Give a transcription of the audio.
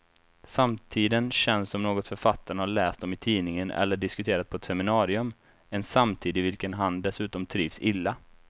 Samtiden känns som något författaren har läst om i tidningen eller diskuterat på ett seminarium, en samtid i vilken han dessutom trivs illa.